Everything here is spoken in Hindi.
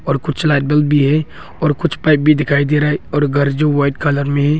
और कुछ लाइट बल्ब भी है और कुछ पाइप भी दिखाई दे रहा है और घर जो वाइट कलर में है।